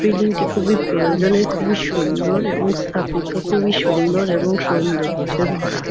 Building -টি খুবই প্রয়োজনের খুবই সুন্দর এবং স্থাপিত। খুবই সুন্দর এবং সৌন্দর্য্যে ভরা ।